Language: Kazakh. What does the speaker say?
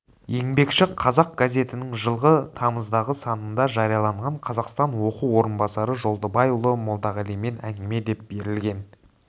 еңбекші қазақ газетінің жылғы тамыздағы санында жарияланған қазақстан оқу орынбасары жолдыбайұлы молдағалимен әңгіме деп берілген